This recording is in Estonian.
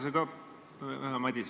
Hea Madis!